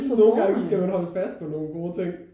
Jeg synes nogle gange skal man holde fast på nogen gode ting